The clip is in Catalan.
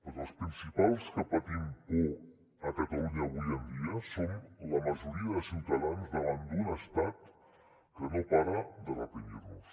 perquè els principals que patim por a catalunya avui en dia som la majoria de ciutadans davant d’un estat que no para de reprimir nos